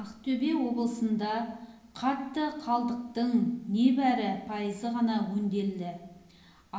ақтөбе облысында қатты қалдықтың небәрі пайызы ғана өңделеді